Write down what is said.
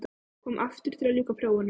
Komin aftur til að ljúka prófunum.